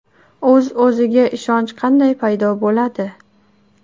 O‘z-o‘ziga ishonch qanday paydo bo‘ladi?.